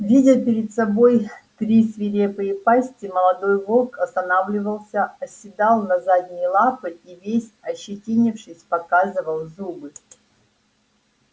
видя перед собой три свирепые пасти молодой волк останавливался оседал на задние лапы и весь ощетинившись показывал зубы